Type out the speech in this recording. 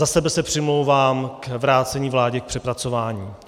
Za sebe se přimlouvám za vrácení vládě k přepracování.